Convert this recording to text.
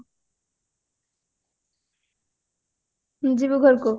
ଯିବୁ ଘରକୁ